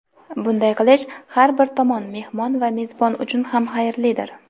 Bunday qilish har bir tomon – mehmon va mezbon uchun ham xayrlidir.